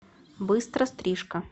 быстро стрижка